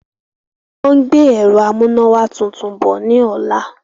Wọ́n ń gbé ẹ̀rọ amúnáwá tuntun bọ̀ ní ọ̀la.